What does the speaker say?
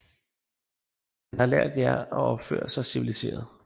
Han har lært jer at opføre sig civiliseret